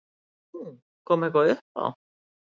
Nú, kom eitthvað upp á?